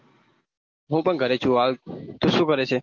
હું પણ ઘરે છુ હાલ તું શું કરે છે?